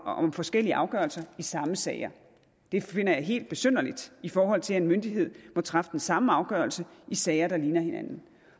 om forskellige afgørelser i samme sager det finder jeg helt besynderligt i forhold til at en myndighed må træffe den samme afgørelse i sager der ligner hinanden